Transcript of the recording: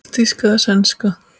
Helst þýsk eða sænsk.